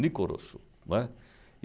Nicoroso, né.